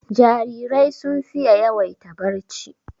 Jarirai sun fiye yawaita barci